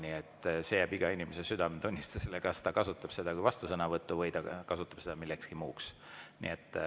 Nii et see jääb iga inimese südametunnistusele, kas ta kasutab seda kui vastusõnavõttu või ta kasutab seda millekski muuks.